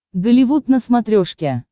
голливуд на смотрешке